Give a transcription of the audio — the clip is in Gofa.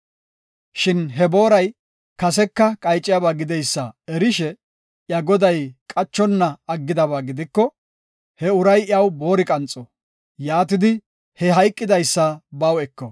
Shin he booray kaseka qayciyaba gideysa erishe, iya goday qachonna aggidaba gidiko, he uray iyaw boori qanxo. Yaatidi, he hayqidaysa baw eko.”